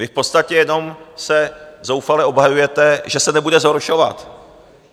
Vy v podstatě jenom se zoufale obhajujete, že se nebude zhoršovat.